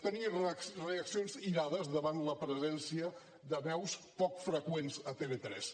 tenien reaccions irades davant la presència de veus poc freqüents a tv3